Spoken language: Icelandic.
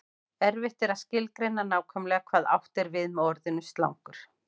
erfitt er að skilgreina nákvæmlega hvað átt er við með orðinu slangur